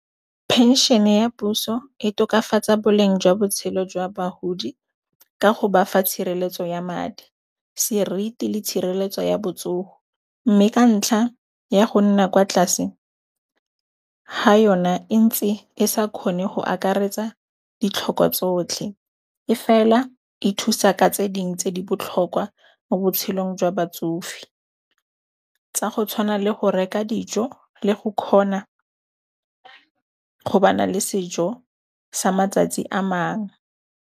Phenšhene ya puso e tokafatsa boleng jwa botshelo jwa bahodi ka ho bafa tshireletso ya madi, seriti le tshireletso ya botsoho, mme ka ntlha ya go nna kwa tlase ha yona e ntsi e sa kgone go akaretsa ditlhoko tsotlhe e fela e thusa ka tse dingwe tse di botlhokwa mo botshelong jwa batsofe, tsa go tshwana le go reka dijo le go kgona go ba na le sejo sa matsatsi a mang.